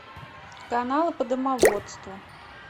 каналы по домоводству